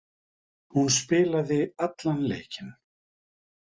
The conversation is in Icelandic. Hún spilaði allan leikinn.